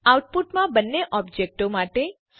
આઉટપુટમાં બંને ઓબજેક્ટો માટે વેલ્યુઓ દર્શાવો